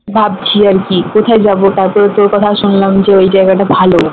ভাবছি আরকি কোথায় যাবো তারপর তোর কথাও শুনলাম ওই জায়গাটা ভালো